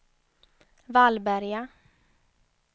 Vallberga